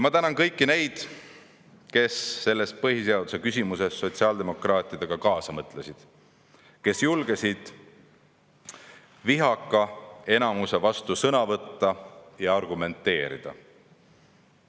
Ma tänan kõiki neid, kes põhiseaduse küsimuses sotsiaaldemokraatidega kaasa mõtlesid, kes julgesid enamuse vastu sõna võtta ja argumenteerida.